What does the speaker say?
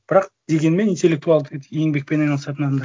бірақ дегенмен интеллектуалдық еңбекпен айналысатын адамдар